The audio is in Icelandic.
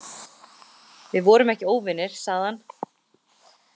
Við vorum ekki óvinir, sagði hann.